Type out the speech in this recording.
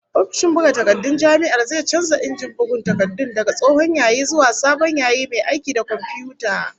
Ofishin buga takardun jami'ar zai canza injin bugun takardun daga tsohon yayi zuwa sabon yayi mai aiki da komfiyuta